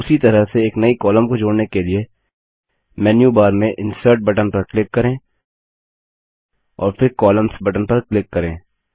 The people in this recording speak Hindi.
उसी तरह से एक नई कॉलम को जोड़ने के लिए मेन्यूबार में इंसर्ट बटन पर क्लिक करें और फिर कोलम्न्स बटन पर क्लिक करें